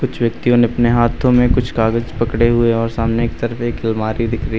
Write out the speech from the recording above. कुछ व्यक्तियो ने अपने हाथों में कुछ कागज पड़े हुए और सामने की तरफ एक अलमारी दिख रही--